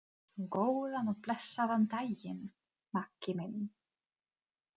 Góðan og blessaðan daginn, Maggi minn.